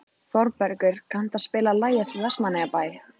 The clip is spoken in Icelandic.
Þorbergur, kanntu að spila lagið „Vestmannaeyjabær“?